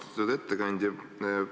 Austatud ettekandja!